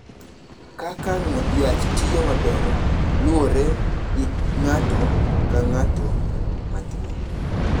Kaka yath tiyo maber luwore gi ng’ato ka ng’ato ma tuo.